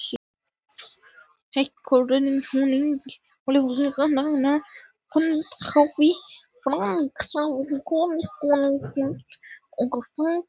Heggur nú hjúið hærra en afl veitir, sagði Guðmundur og hafði þykknað í honum.